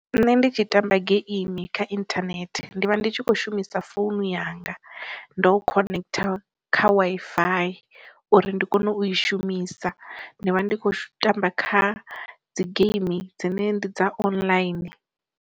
Nṋe ndi tshi tamba geimi kha inthanethe ndi vha ndi tshi kho shumisa founu yanga ndo khonektha kha wi fi uri ndi kone u i shumisa, ndi vha ndi kho tamba kha dzi geimi dzine ndi dza online.